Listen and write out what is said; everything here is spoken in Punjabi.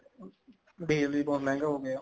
ਡੀਜਲ ਵੀ ਬਹੁਤ ਮਹਿੰਗਾ ਹੋਗਿਆ